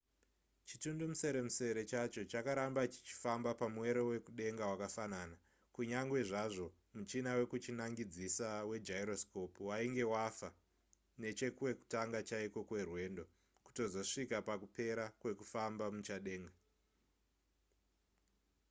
chitundumuseremusere chacho chakaramba chichifamba pamwero wekudenga wakafanana kunyange zvazvo muchina wekuchinangidzisa wegyroscope wainge wafa nechekwekutanga chaiko kwerwendo kutozosvika pakupera kwekufamba muchadenga